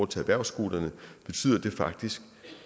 til erhvervsskolerne betyder det faktisk